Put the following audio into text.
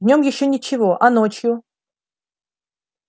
днём ещё ничего а ночью